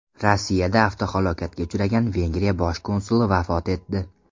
Rossiyada avtohalokatga uchragan Vengriya bosh konsuli vafot etdi.